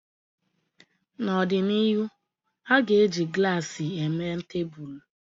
N'ọdịnihu, a ga-eji glaasi eme tebụl